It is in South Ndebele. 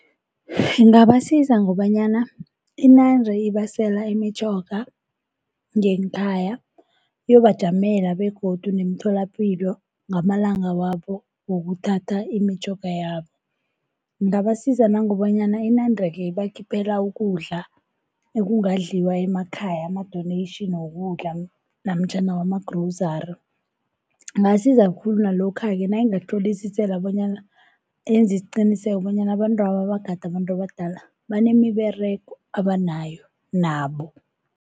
Ingabasiza ngobanyana inande ibasela imitjhoga ngeenkhaya, iyobajamela begodu ngemitholapilo ngamalanga wabo wokuthatha imitjhoga yabo. Ingabasiza nangokobanyana inande-ke ibakhiphela ukudla ekungadliwa emakhaya, ama-donation wokudla namtjhana wama-grovery. Ingasiza khulu nalokha-ke nayingahlolisisela bonyana yenze isiqiniseko bonyana abantwaba abagade abantu abadala banemiberego abanayo nabo.